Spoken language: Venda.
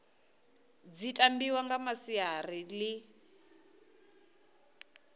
dzi tambiwa nga masiari ḽi